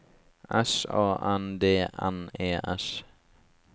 S A N D N E S